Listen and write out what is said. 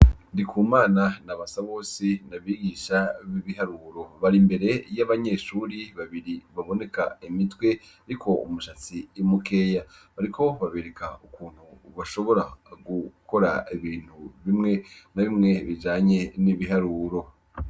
Ndikumana na Basabosi n’abagisha b’ibiharuro, barimbere y’abanyeshure babiri baboneka imitwe iriko umushatsi mukeya, bariko babereka ukuntu bashobora gukora ibintu bimwe na bimwe bijanye n’ibiharuro.